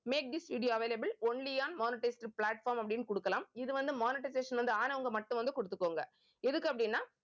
make this video available only on monetized platform அப்படின்னு கொடுக்கலாம். இது வந்து monetization வந்து ஆனவங்க மட்டும் வந்து கொடுத்துக்கோங்க. எதுக்கு அப்படின்னா